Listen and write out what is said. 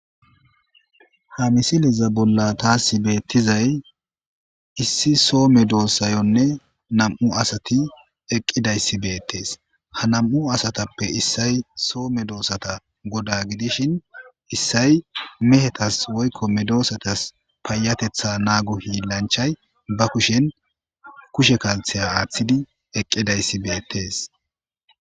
Ha misilezan bolla tas beetizay issi so medosayonne nam'u asati eqqidayssi beetees ha nam'u asattappe issay so medosata goda gidishin issay mehetas woykko medosatas payyatetha naago hiillanchchay ba kushen kushe kalsiya aaththidi eqqidayssi beettees.